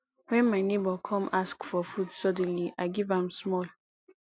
wen my nebor come ask for food suddenly i give am small